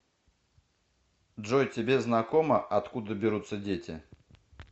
джой тебе знакомо откуда берутся дети